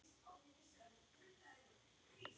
Árinu eldri en pabbi.